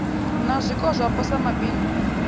na zwiko zwapo sa mabindu